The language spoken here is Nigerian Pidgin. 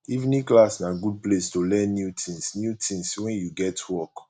evening class na good place to learn new tins new tins wen you get work